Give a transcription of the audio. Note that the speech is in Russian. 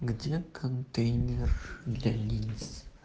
где контейнер для линз